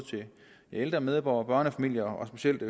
ældre medborgere børnefamilier og specielt